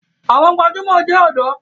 Àwọn gbajúmọ̀ jẹ ọ̀dọ́.